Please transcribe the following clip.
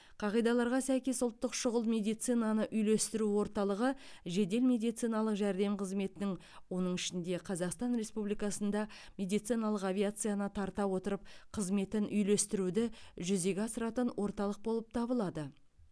қағидаларға сәйкес ұлттық шұғыл медицинаны үйлестіру орталығы жедел медициналық жәрдем қызметінің оның ішінде қазақстан республикасында медициналық авиацияны тарта отырып қызметін үйлестіруді жүзеге асыратын орталық болып табылады